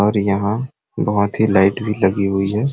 और यहाँ बहुत लाइट ही भी लगी हुई है।